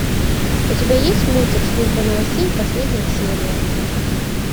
у тебя есть мультик служба новостей последняя серия